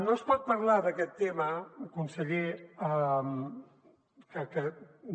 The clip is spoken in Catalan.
no es pot parlar d’aquest tema conseller no